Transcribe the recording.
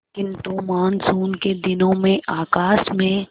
किंतु मानसून के दिनों में आकाश में